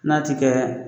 N'a ti kɛ